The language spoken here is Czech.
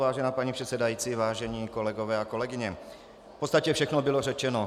Vážená paní předsedající, vážení kolegové a kolegyně, v podstatě všechno bylo řečeno.